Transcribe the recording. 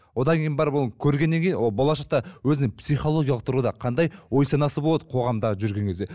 одан кейін барып оны көргеннен кейін ол болашақта өзінің психологиялық тұрғыда қандай ой санасы болады қоғамда жүрген кезде